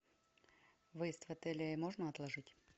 выезд в отеле можно отложить